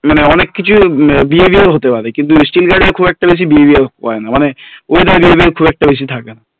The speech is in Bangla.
মানে অনেক কিছু behavior হতে পারে steel guard এর খুব একটা বেশি behavior হয় না মানে খুব একটা বেশি থাকে না